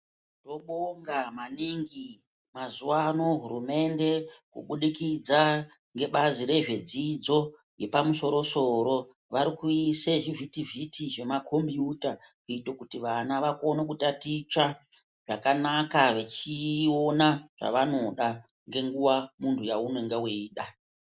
Tinobonga maningi mazuva ano hurumende kubudikidza ngebazi rezvedzidzo yepamusoro soro vari kuise zvivhiti vhiti zvemakombuyuta kuite kuti vana vakone kutaticha zvakanaka vechiona zvavanoda ngenguva mundu yaunenge weida.